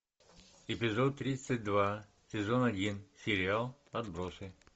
эпизод тридцать два сезон один сериал отбросы